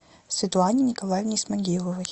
светлане николаевне исмагиловой